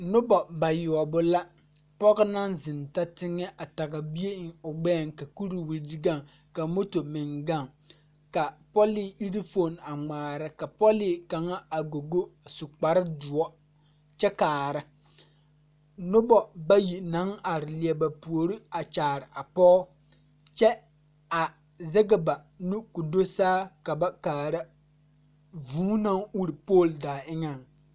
Nobɔ bayoɔbɔ la pɔge naŋ zeŋ ta teŋɛ a tage bie eŋ o gbɛɛŋ ka kuriwire gaŋ ka moto meŋ gaŋ ka pɔlee ire foon a ngmaara ka pɔlee kaŋa a gogo su kparedoɔ kyɛ kaara nobɔ bayi naŋ are lie ba puore a kyaare a pɔge kyɛ a zege ba nu ko do saa ka ba kaara vūū naŋ ure pool daa eŋɛŋ.